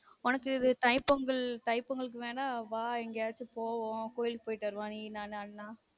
உனக்கு இது தை பொங்கல் தை பொங்கலுக்கு வேனா வா எங்கயாக்சும் போவொம் கோவிலுக்கு போயிட்டு நீ நானு அண்ணா